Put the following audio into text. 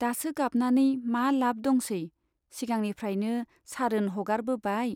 दासो गाबनानै मा लाभ दंसै , सिगांनिफ्रायनो सारोन हगारबोबाय।